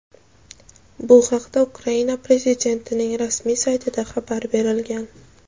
Bu haqda Ukraina Prezidentining rasmiy saytida xabar berilgan.